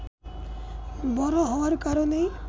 বড় হওয়ার কারণেই